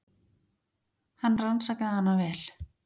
Hann rannsakaði hana vel.